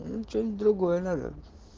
что-нибудь другое надо